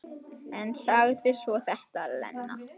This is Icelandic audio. En sagði svo þetta, Lena.